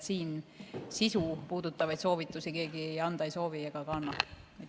Siin sisu puudutavaid soovitusi keegi anda ei soovi ega annagi.